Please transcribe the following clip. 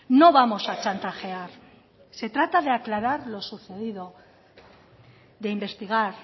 no vamos a chantajear se trata de aclarar lo sucedido de investigar